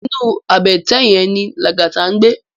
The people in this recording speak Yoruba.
Inú àbètè yèn ni Lagata ngbé